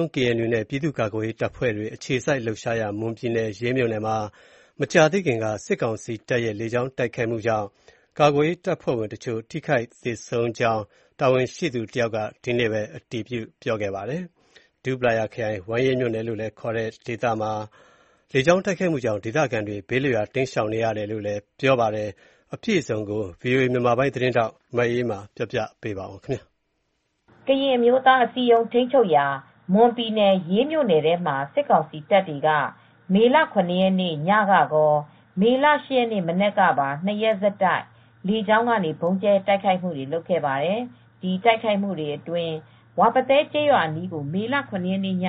ုံး နဲ့ ပြည်သူ့ကာကွယ်ရေးတပ်ဖွဲ့တွေ အခြေစိုက်လှုပ်ရှားရာ မွန်ပြည်နယ်၊ ရေးမြို့နယ်မှာ မကြာသေးခင်က စစ်ကောင်စီတပ်ရဲ့ လေကြောင်း တိုက်ခိုက်မှုကြောင့် ကာကွယ်ရေးတပ်ဖွဲ့ဝင်တချို့ ထိခိုက်သေဆုံးကြောင်း တာဝန်ရှိသူ တယောက်က ဒီကနေ့ပဲ အတည်ပြုခဲ့ပါတယ်။ ဒူးပလာယာခရိုင်၊ ဝမ်းရေးမြို့နယ် လို့လည်း ခေါ်ကြတဲ့ ဒေသမှာ လေကြောင်းတိုက်ခိုက်မှုကြောင့် ဒေသခံတွေ ဘေးလွတ်ရာ တိမ်းရှောင်နေရတယ်လို့လည်း ပြောပါတယ်။ အပြည့်အစုံကို ဗွီအိုအေမြန်မာပိုင်း သတင်းထောက် မအေးအေးမာက သတင်းပေးပို့ထားပါတယ်။ ကရင်အမျိုးသားအစည်းအရုံးထိမ်းချုပ်ရာ မွန်ပြည်နယ် ရေးမြို့နယ်ထဲမှာစစ်ကောင်စီတပ်တွေက မေလ၇ရက်နေ့ညကကော မေလ ၈ရက်နေ့မနက်ကပါ ၂ရက်ဆက်တိုက်လေကြောင်းကနေ ဗုံးကြဲတိုက်ခိုက်မူတွေလုပ်ခဲ့ပါတယ်။ ဒီတိုက်ခိုက်မူတွေအတွင်း ဝါပသဲကျေးရွာအနီးကို မေလ၇ရက်နေ့က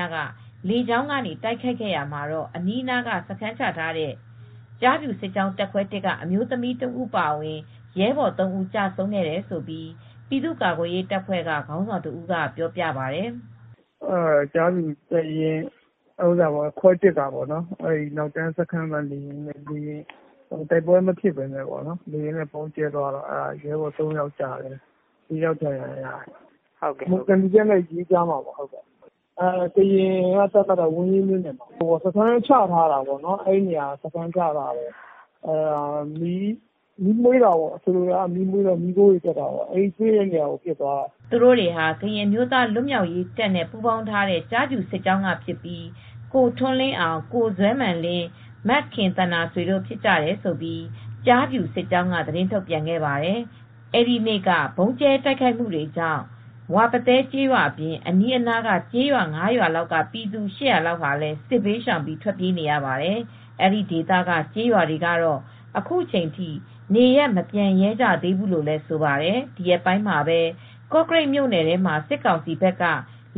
လေကြောင်းကနေတိုက်ခိုက်ရာမှာ အနီးနာမှာစခန်းချထားတဲ့ ကျားဖြူစစ်ကြောင်းတပ်ခွဲ က အမျိုးသမီးတဦးအပါအဝင် ရဲဘော် ၃ ဦးကျဆုံးခဲ့တယ်လို့ ပြည်သူ့ကာကွယ်ရေးတပ်ဖွဲ့ကခေါင်းဆောင်တဦးကပြောပြပါတယ်။ "ကျားဖြူတပ်ရင်းခွဲ ကပေါ့ နောက်တန်းစခန်းမှာနေရင်း တိုက်ပွဲမဖြစ်ပဲနဲ့ လေယာဉ်နဲ့ပစ်ရင်းနဲ့ ရဲဘော် ၃ယောက်ကျတယ် ၄ ယောက်ဒဏ်ရာရတယ် သံဖြူဇရပ်နဲ့ရေးကြားထဲကပေါ့ ကရင်က သတ်မှတ်ထားတာကတော့ဝမ်းရေးမြို့နယ်ထဲမှာပါ။ စခန်းချထားတာပေါ့ အဲဒီနေရာမှာမီးမွှေးတော့ မီးခိုးတွေတက်တဲ့နေရာကို ပစ်သွားတာပါ" သူတို့တွေဟာကရင်းအမျိုးသားလွတ်မြောက်ရေးတပ်နဲ့ ပူးပေါင်းထားတဲ့ကျားဖြူစစ်ကြောင်းကဖြစ်ပြီး ကိုထွန်းလင်းအောင် ကိုဇွဲမာန်လင်း မခင်သန္တာဆွေတို့ဖြစ်ကြတယ်လို့ ကျားဖြူစစ်ကြောင်းကသတင်းထုတ်ပြန်ပါတယ်။ အဲဒီနေ့က ဗုံးကြဲတိုက်ခိုက်မူတွေကြောင့် ဝါပသဲကျေးရွာအပြင် အနီးကျေးရွာ ၅ ရွာလောက်က ပြည်သူ ၈၀၀လောက်လည်းစစ်ဘေးရှောင်ပြီးထွက်ပြေးနေရပါတယ်။ အဲဒီဒေသက ကျေးရွာတွေကတော့အခုချိန်ထိနေရပ်မပြန်ရဲကြသေးဘူးလို့လည်းဆိုပါတယ်။ ဒီရက်ပိုင်းမှာပဲ ကော့ကရိတ်မြို့နယ်ထဲမှာစစ်ကောင်စီဘက်က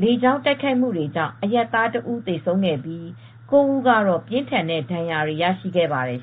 လေကြောင်းတိုက်ခိုက်မူတွေကြောင့်အရပ်သား တဦးသေဆုံးခဲ့ပြီး ၉ ဦးကတော့ ပြင်းထန်တဲ့ဒဏ်ရာတွေလည်းရရှိခဲ့ပါတယ်